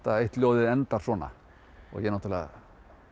eitt ljóðið endar svona og ég náttúrulega